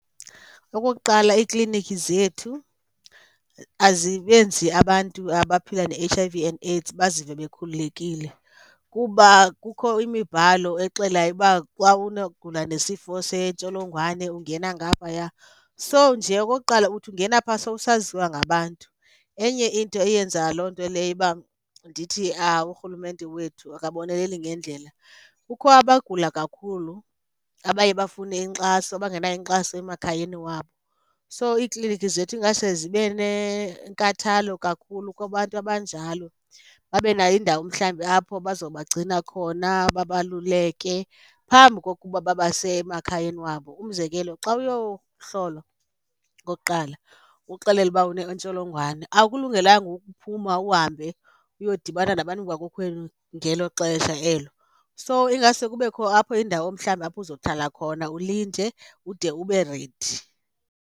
Okokuqala, iiklinikhi zethu azibenzi abantu abaphila ne-H_I_V and AIDS bazive bekhululekile. Kuba kukho imibhalo exelayo uba xa ugula nesifo sentsholongwane ungena ngaphaya. So, nje okokuqala uthi ungena pha sowusaziwa ngabantu. Enye into eyenza loo nto leyo uba ndithi urhulumente wethu akaboneleli ngendlela, kukho abagula kakhulu abaye bafune inkxaso abangenayo inkxaso emakhayeni wabo. So, iiklinikhi zethu engase zibe nenkathalo kakhulu kubantu abanjalo, babe nayo indawo mhlawumbi apho bazobagcina khona babaluleke phambi kokuba babase emakhayeni wabo. Umzekelo, xa uyohlolwa okokuqala uxelelwa uba unentsholongwane awukulungelanga ukuphuma uhambe uyodibana nabantu bakokwenu ngelo xesha elo. So, ingaske kubekho apho indawo mhlawumbi apho uzohlala khona ulinde ude ube ready.